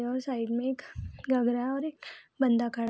side में एक है और एक बंदा खड़ा --